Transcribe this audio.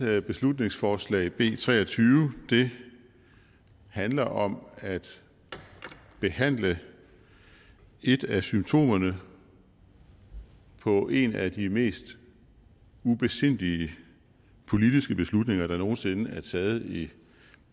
beslutningsforslag b tre og tyve handler om at at behandle et af symptomerne på en af de mest ubesindige politiske beslutninger der nogen sinde er taget i